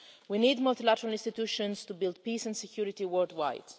We need multilateral institutions to build peace and security worldwide.